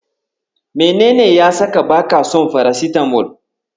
Menene ya saka baka son farasitamol?